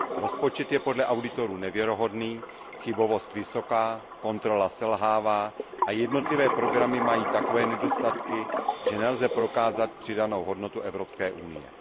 Rozpočet je podle auditorů nevěrohodný, chybovost vysoká, kontrola selhává a jednotlivé programy mají takové nedostatky, že nelze prokázat přidanou hodnotu Evropské unie.